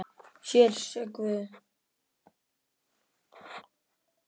Hér sé guð!